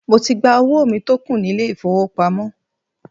Mo ti gba owó mi tó kù nílé ìfowópamọ́.